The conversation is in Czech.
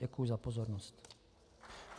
Děkuji za pozornost.